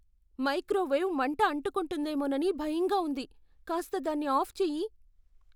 Microwave మంటఅంటుకుంటుందేమోనని భయంగా ఉంది. కాస్త దాన్ని ఆఫ్ చెయ్యి.